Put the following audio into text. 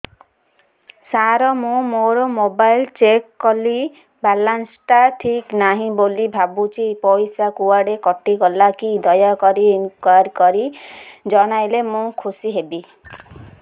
ସାର ମୁଁ ମୋର mobile check କଲି ବାଲାନ୍ସ ଟା ଠିକ ନାହିଁ ବୋଲି ଭାବୁଛି ପଇସା କୁଆଡେ କଟି ଗଲା କି ଦୟାକରି ଇନକ୍ୱାରି କରି ଜଣାଇଲେ ମୁଁ ଖୁସି ହେବି